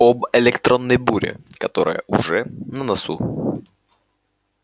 об электронной буре которая уже на носу